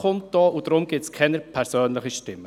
Deshalb gibt es keine persönlichen Stimmen.